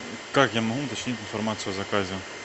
как я могу уточнить информацию о заказе